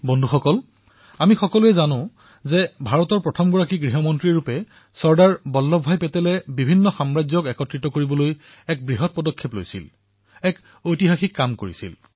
বন্ধুসকল আমি সকলোৱে জানো যে ভাৰতৰ প্ৰথম গৃহমন্ত্ৰীৰ ৰূপত চৰ্দাৰ বল্লভভাই পেটেলে ৰাজ্যসমূহক একত্ৰিত কৰাৰ ঐতিহাসিক ভূমিকা পালন কৰিছিল